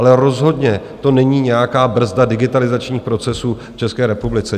Ale rozhodně to není nějaká brzda digitalizačních procesů v České republice.